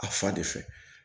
A fa de fɛ